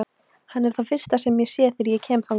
Hann er það fyrsta sem ég sé þegar ég kem þangað.